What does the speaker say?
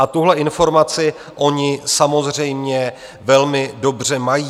A tuhle informaci oni samozřejmě velmi dobře mají.